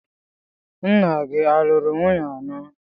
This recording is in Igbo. Nna gị a lụrụ nwunye anọ?